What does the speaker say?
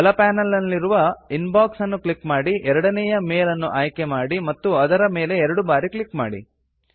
ಬಲ ಪ್ಯಾನಲ್ ನಲ್ಲಿರುವ ಇನ್ಬಾಕ್ಸ್ ಅನ್ನು ಕ್ಲಿಕ್ ಮಾಡಿ ಎರಡನೆಯ ಮೇಲ್ ಅನ್ನು ಆಯ್ಕೆ ಮಾಡಿ ಮತ್ತು ಅದರ ಮೇಲೆ ಎರಡು ಬಾರಿ ಕ್ಲಿಕ್ ಮಾಡಿ